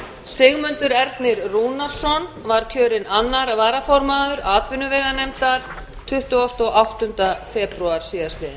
sigmundur ernir rúnarsson var kjörinn annar varaformaður atvinnuveganefndar tuttugasta og áttunda febrúar síðastliðinn